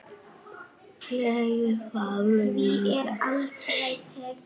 Ég fann mína leið.